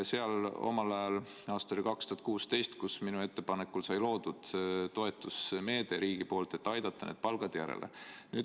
Seal sai omal ajal, 2016. aastal minu ettepanekul loodud riigi poolt toetusmeede, et aidata need palgad järele.